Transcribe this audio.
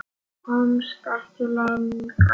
Komst ekki lengra.